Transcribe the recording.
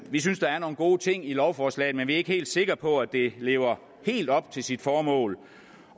vi synes der er nogle gode ting i lovforslaget men vi er ikke helt sikre på at det lever helt op til sit formål